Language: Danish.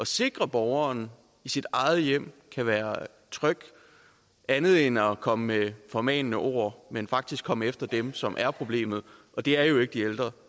sikre at borgeren i sit eget hjem kan være tryg andet end at komme med formanende ord altså man faktisk komme efter dem som er problemet og det er jo ikke de ældre